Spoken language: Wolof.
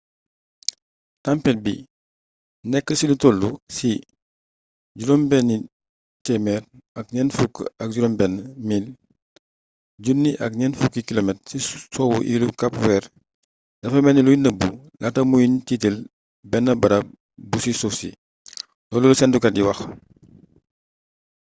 tampet bi nekk ci lu toll ci 646 mil 1040 km ci soowu iilu kap weer dafa melni luy nëbbu laata ñuy tiitël benn barab bu ci suuf si loolu la séntukat yi wax